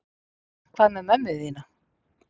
Hvað með mömmu þína?